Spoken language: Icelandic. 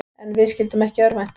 En við skyldum ekki örvænta.